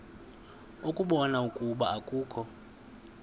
ukubona ukuba akukho